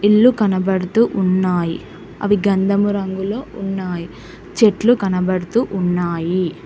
ఇల్లు కనబడుతూ ఉన్నాయి అవి గంధమురంగులో ఉన్నాయి చెట్లు కనబడుతూ ఉన్నాయి.